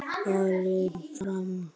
Elsa var farin fram.